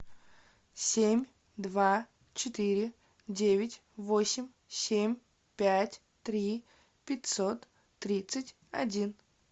семь два четыре девять восемь семь пять три пятьсот тридцать один